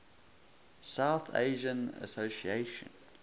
south asian association